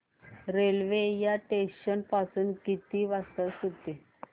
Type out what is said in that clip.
railway या station पासून किती वाजता सुटते